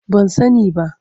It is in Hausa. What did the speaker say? Ban sani ba.